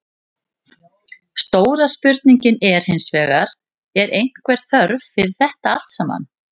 Stóra spurningin er hinsvegar, er einhver þörf fyrir þetta allt saman?